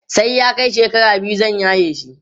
sai ya Kai shekara biyu zan yaye shi